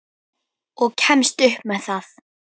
Og kemst upp með það!